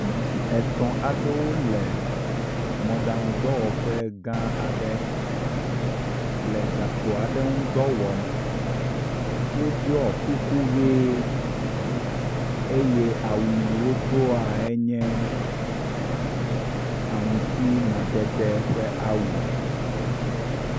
Ŋutsu etɔ̃ aɖewo le mɔɖaŋu dɔwɔƒe gã aɖe le gakpo aɖe ŋu dɔ wɔm. Woɖɔ kuku ʋe eye awu yi wodoa nye aŋuti madede ƒe awu.